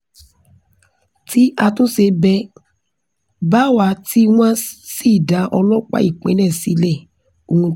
tí àtúnṣe bẹ́ẹ̀ bá wà tí wọ́n sì dá ọlọ́pàá ìpínlẹ̀ sílẹ̀ ohun tó dáa ni